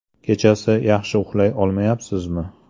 Kechasi yaxshi uxlay olmayapsizmi?